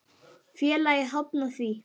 Félagið hafnaði því.